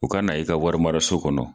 U ka na i ka warimaraso kɔnɔ.